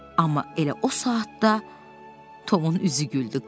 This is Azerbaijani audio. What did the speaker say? Amma elə o saatda Tomun üzü güldü.